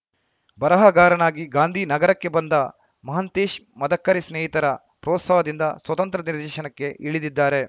ಬರಹಗಾರನಾಗಿ ಗಾಂಧಿ ನಗರಕ್ಕೆ ಬಂದ ಮಹಂತೇಶ್‌ ಮದಕರಿ ಸ್ನೇಹಿತರ ಪ್ರೋತ್ಸಾಹದಿಂದ ಸ್ವತಂತ್ರ ರ್ದೇಶನಕ್ಕೆ ಇಳಿದಿದ್ದಾರೆ